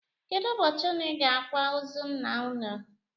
Kedụ ụbọchị ụnụ ga-akwa ozu ńnà ụnụ?